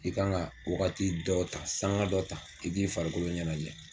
I kan ga wagati dɔ ta sanga dɔ ta i k'i farikolo ɲɛnajɛ